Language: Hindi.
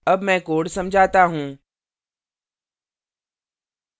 अब मैं code समझाता हूँ